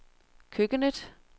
køkkenet